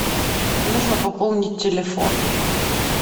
нужно пополнить телефон